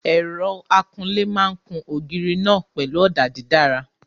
Ẹ̀rọ akunlé máa kun ògiri náà pẹ̀lú ọ̀dà dídára.